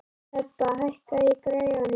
Hebba, hækkaðu í græjunum.